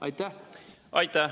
Aitäh!